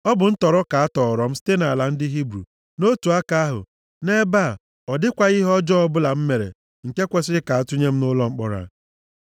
Ọ bụ ntọrọ ka atọọrọ m site nʼala ndị Hibru. Nʼotu aka ahụ, nʼebe a ọ dịkwaghị ihe ọjọọ ọ bụla m mere nke kwesiri ka atụnye m nʼụlọ mkpọrọ a.”